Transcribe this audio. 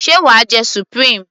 sé wàá jẹ supreme?